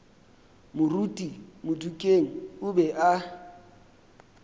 moruti modikeng o be a